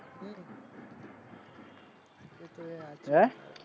હે